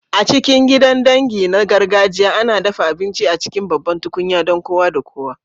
A cikin gidan dangi na gargajiya, ana dafa abinci a cikin babban tukunya don kowa da kowa.